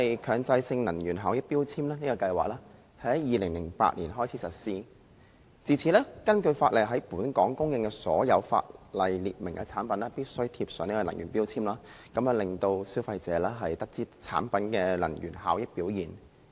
強制性能源效益標籤計劃在2008年開始實施，自此，根據法例，在本港出售的所有法例列明的產品必須貼上能源標籤，讓消費者知悉其能源效益表現。